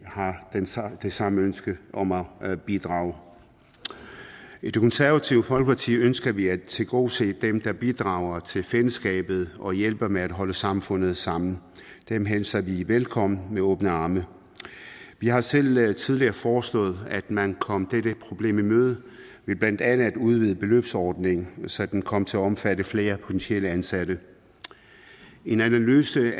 har det samme ønske om at bidrage i det konservative folkeparti ønsker vi at tilgodese dem der bidrager til fællesskabet og hjælper med at holde samfundet sammen dem hilser vi velkommen med åbne arme vi har selv tidligere foreslået at man kom dette problem i møde ved blandt andet at udvide beløbsordningen så den kom til at omfatte flere potentielle ansatte en analyse